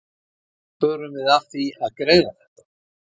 Hvernig förum við að því að greiða þetta?